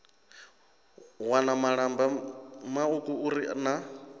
wana malamba mauku uri na